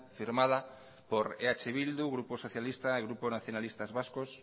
firmada por eh bildu grupo socialista el grupo nacionalistas vascos